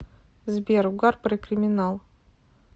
сбер угар про криминал